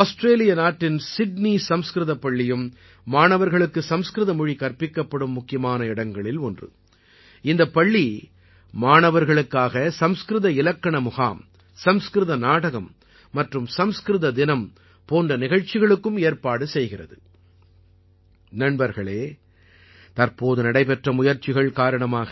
Australia के उन प्रमुख संस्थानों में से एक है जहाँ विद्यार्थियों को संस्कृत भाषा पढ़ाई जाती है | ये ஸ்கூல் बच्चों के लिए சன்ஸ்கிரித் கிராமர் கேம்ப் संस्कृत नाटक और संस्कृत दिवस जैसे कार्यक्रमों का भी आयोजन भी करते हैं |